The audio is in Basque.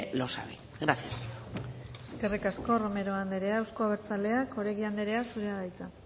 lo sabe gracias eskerrik asko romero anderea euzko abertzaleak oregi anderea zurea da hitza